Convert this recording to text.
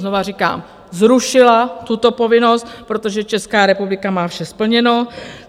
Znovu říkám - zrušila tuto povinnost, protože Česká republika má vše splněno.